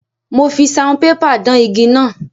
Mo fi saunpépà dán igi náà.